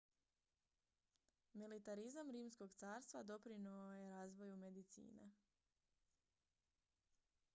militarizam rimskog carstva doprinio je razvoju medicine